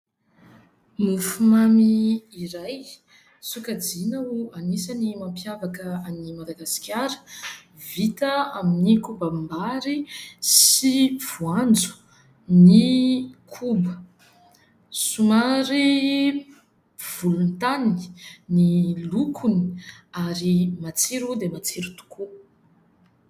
Mofomamy iray sokajiana ho anisan'ny mampiavaka an'i Madagasikara. Vita amin'ny ny kobam-bary sy voanjo ny koba. Somary volontany ny lokony ary matsiro dia matsiro tokoa.